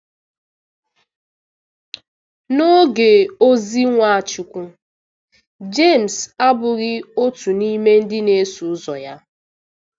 N'oge ozi Nwachukwu, Jemes abụghị otu n'ime ndị na-eso ụzọ ya.